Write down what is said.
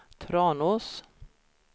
Tranås